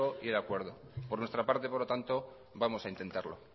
y el acuerdo por nuestra parte por lo tanto vamos a intentarlo